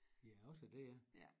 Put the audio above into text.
Ja også det ja